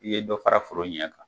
I ye dɔ fara foro ɲɛ kan.